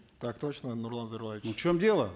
так точно нурлан зайроллаевич ну в чем дело